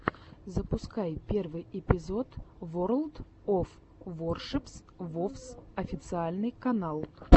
запускай первый эпизод ворлд оф воршипс вовс официальный канал